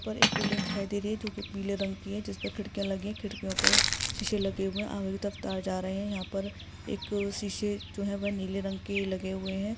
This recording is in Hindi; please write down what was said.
बिल्डिंग दिखाई दे रही है जोकि पीले रंग की है | जिस पर खिडकीया लगी है खिड्किओ पर सीसे लगे हुए है आर तरफ जा रहे है यहा पर एक सीसे जोह वो नीले रंग के लगे हुए है।